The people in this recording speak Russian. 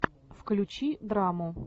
включи драму